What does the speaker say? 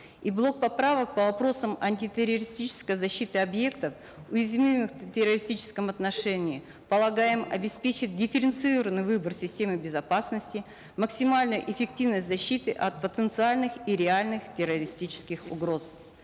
и блок поправок по вопросам антитеррористической защиты объектов уязвимых в террористическом отношении полагаем обеспечит дифференцированный выбор системы безопасности максимальную эффективность защиты от потенциальных и реальных террористических угроз